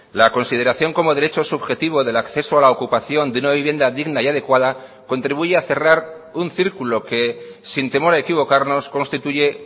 la consideración como derecho subjetivo del acceso a la ocupación de una vivienda digna y adecuada contribuye a cerrar un círculo que sin temor a equivocarnos constituye